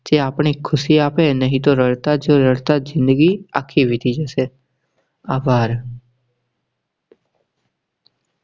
જે આપની ખુશી આપે નહીં તો રડતા જ઼િંદગી આખી વીતી જશે. આભાર